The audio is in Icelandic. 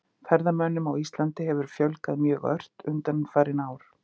Ferðamönnum á Íslandi hefur fjölgað mjög ört undanfarin ár.